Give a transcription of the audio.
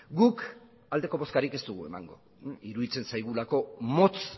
guk aldeko bozkarik ez dugu emango iruditzen zaigulako motz